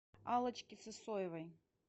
аллочки сысоевой